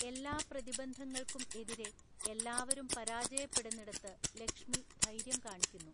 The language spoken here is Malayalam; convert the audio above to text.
എല്ലാ പ്രതിബന്ധങ്ങൾക്കും എതിരെ, എല്ലാവരും പരാജയപ്പെടുന്നിടത്ത് ലക്ഷ്മി ധൈര്യം കാണിക്കുന്നു.